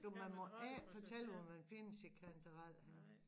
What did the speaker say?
Du man må ikke fortælle hvor man finder sine kantareller henne